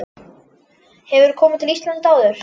Hefurðu komið til Íslands áður?